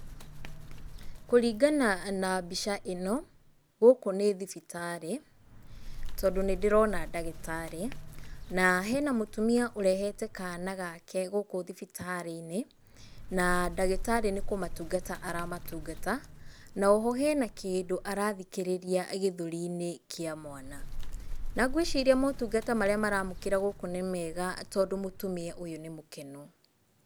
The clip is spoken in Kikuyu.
Kũringana na mbica ĩno, gũkũ nĩ thibitarĩ, tondũ nĩ ndĩrona ndagĩtarĩ. Na hena mũtumia ũrehete kana gake gũkũ thibitarĩ-inĩ, na ndagĩtarĩ nĩ kũmatungata aramatungata, na oho hena kĩndũ arathikĩrĩria gĩthũri-inĩ kĩa mwana. Na ngwĩciria motungata marĩa maramũkĩra gũkũ nĩ mega tondũ mũtumia ũyũ nĩ mũkenu.